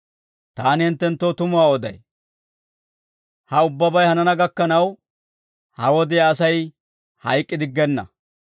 Taani hinttenttoo tumuwaa oday; ha ubbabay hanana gakkanaw, ha wodiyaa Asay hayk'k'idiggenna.